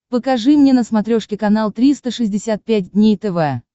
покажи мне на смотрешке канал триста шестьдесят пять дней тв